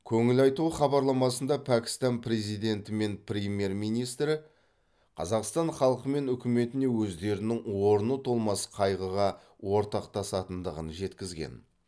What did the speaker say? көңіл айту хабарламасында пәкістан президенті пен премьер министрі қазақстан халқы мен үкіметіне өздерінің орны толмас қайғыға ортақтасатындығын жеткізген